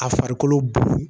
A farikolo